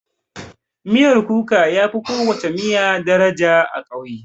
Miyan kuka yafi kowana miya daraja a ƙauye.